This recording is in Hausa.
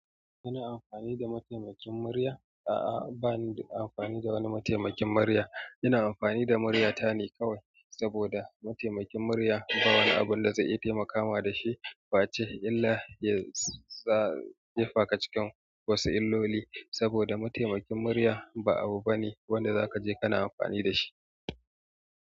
Kina amfani da mataimakin murya? A'a, ba ni amfani da wani mataimakin murya. Ina amfani da muryata ne kawai, saboda mataimakin murya ba wani abun da zai iya taimakawa da shi ba ce, illa ya sa jefa ka cikin wasu illoli. Saboda mataimakin murya ba abu bane wanda zaka je kana amfani da shi.